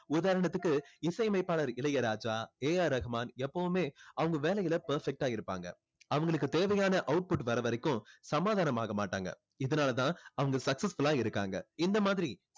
உதாரணத்துக்கு இசை அமைப்பாளர் இளையராஜா ஏ ஆர் ரகுமான் எப்போவுமே அவங்க வேலையில perfect ஆ இருப்பாங்க அவங்களுக்கு தேவையான output வர்ற வரைக்கும் சமாதானம் ஆக மாட்டாங்க இதனால தான் அவங்க successful ஆ இருக்காங்க இந்த மாதிரி